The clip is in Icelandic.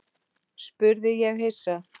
spurði ég hissa.